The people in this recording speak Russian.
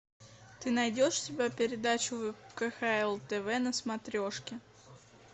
ты найдешь у себя передачу кхл тв на смотрешке